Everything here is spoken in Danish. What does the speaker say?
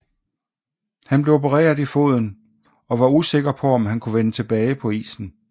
Han blev opereret i foden og var usikker på om han kunne vende tilbage på isen